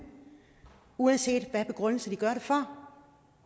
uanset hvad deres begrundelse for